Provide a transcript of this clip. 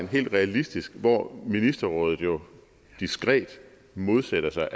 helt realistisk hvor ministerrådet jo diskret modsætter sig